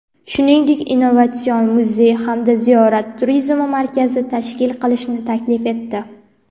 shuningdek innovatsion muzey hamda Ziyorat turizmi markazi tashkil qilishni taklif etdi.